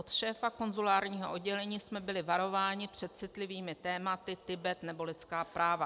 Od šéfa konzulárního oddělení jsme byli varováni před citlivými tématy Tibet nebo lidská práva.